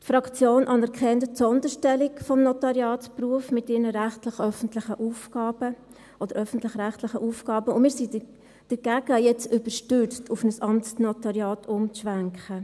Die Fraktion anerkennt die Sonderstellung des Notariatsberufs mit ihren öffentlichen-rechtlich Aufgaben, und wir sind dagegen, jetzt überstürzt auf ein Amtsnotariat umzuschwenken.